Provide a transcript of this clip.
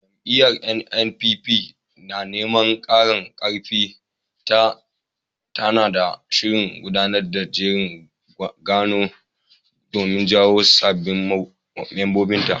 Jam'iyyar NNPP, na neman ƙara ƙarfin ta, tana shirin gudanar da jerin gwano domin jawo sabbin mambobinta.